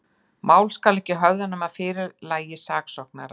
Mál skal ekki höfða, nema að fyrirlagi saksóknara.